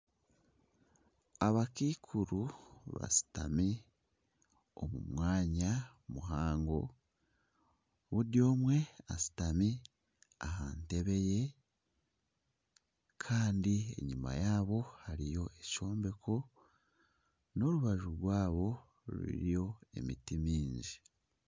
Abakaikuru bashutami omu mwanya muhango, buri omwe ashutami aha ntebe ye kandi enyima yaaba hariyo ekyombeko, aha rubaju rwabo hariyo emiti mingi